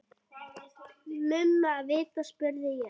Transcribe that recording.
Mumma vita, spurði ég.